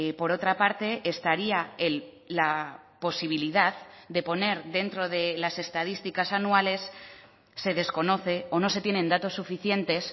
por otra parte estaría la posibilidad de poner dentro de las estadísticas anuales se desconoce o no se tienen datos suficientes